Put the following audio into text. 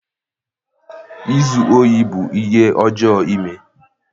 izu ohi bụ ihe ọjọọ ime.